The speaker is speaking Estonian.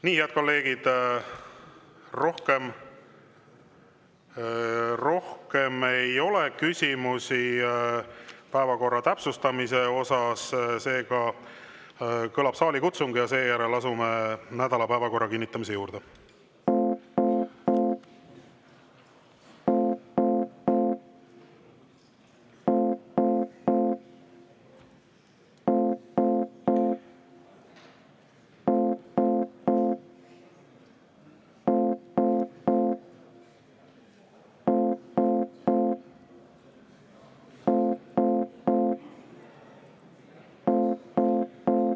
Nii, head kolleegid, rohkem küsimusi päevakorra täpsustamise kohta ei ole, seega kõlab saalikutsung ja seejärel asume nädala päevakorra kinnitamise juurde.